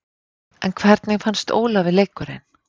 En hvernig fannst Ólafi leikurinn?